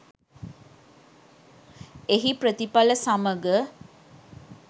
එහි ප්‍රතිඵල සමග